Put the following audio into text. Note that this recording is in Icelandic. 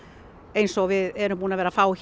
eins og við erum búin að vera að fá